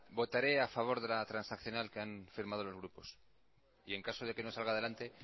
votaré a favor de la transaccional que han firmado los grupos y en caso de que no salga adelante